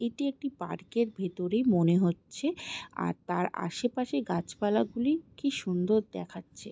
এটি একটি পার্ক ভিতরে মনে হচ্ছে আর তার আসে পাশে গাছ পালা গুলি কি সুন্দর দেখাচ্ছে।